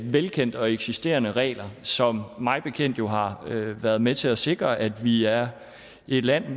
velkendte og eksisterende regler som mig bekendt jo har været med til at sikre at vi er et land